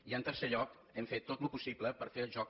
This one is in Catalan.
i en tercer lloc hem fet tot el possible per fer el joc